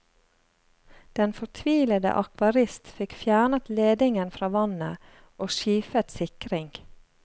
Den fortvilede akvarist fikk fjernet ledingen fra vannet, og skifet sikring.